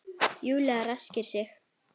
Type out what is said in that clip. Júlía ræskir sig.